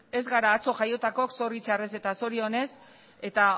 ez gara atzo jaiotakoak zorritzarrez eta zorionez eta